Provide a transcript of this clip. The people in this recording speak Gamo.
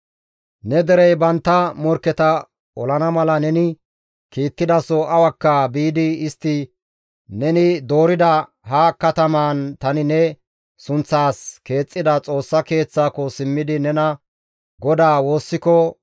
«Ne derey bantta morkketa olana mala neni kiittidaso awakka biidi istti neni doorida ha katamaan tani ne sunththaas keexxida Xoossa Keeththaako simmidi nena GODAA woossiko,